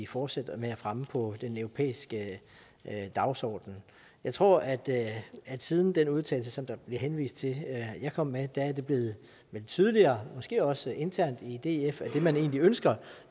fortsætte med at fremme på den europæiske dagsorden jeg tror at det siden den udtalelse som der bliver henvist til at jeg kom med er blevet tydeligere måske også internt i df at det man egentlig ønsker